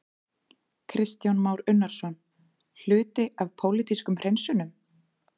Kristján Már Unnarsson: Hluti af pólitískum hreinsunum?